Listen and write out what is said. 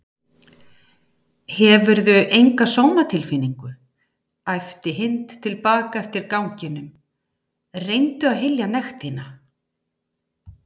Hefurðu enga sómatilfinningu? æpti Hind til baka eftir ganginum, reyndu að hylja nekt þína